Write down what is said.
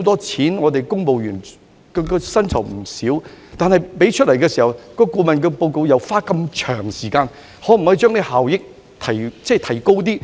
此外，公務員的薪酬開支也為數不少，而且在付錢後，顧問公司還要花長時間才能夠完成報告。